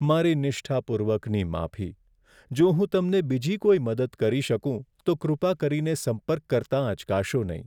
મારી નિષ્ઠાપૂર્વકની માફી! જો હું તમને બીજી કોઈ મદદ કરી શકું, તો કૃપા કરીને સંપર્ક કરતાં અચકાશો નહીં.